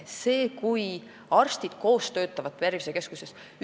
See on hea, kui arstid töötavad tervisekeskuses koos.